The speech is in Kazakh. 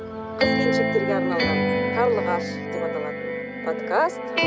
қыз келіншектерге арналған қарлығаш деп аталатын подкаст